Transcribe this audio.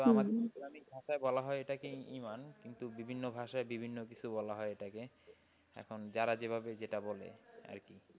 তাই বলা হয় এটাকেই ইমান। কিন্তু বিভিন্ন ভাষায় বিভিন্ন কিছু বলা হয় এটাকে। এখন যাঁরা যেভাবে যেটা বলে আর কি।